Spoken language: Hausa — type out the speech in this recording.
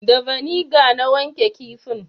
Da vaniga na wanke kifin